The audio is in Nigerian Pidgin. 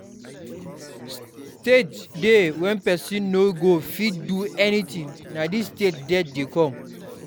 Stage dey when person no go fit do anything, na this stage death dey come